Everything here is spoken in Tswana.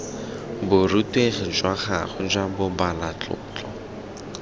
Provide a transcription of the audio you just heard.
borutegi jwa gagwe jwa bobalatlotlo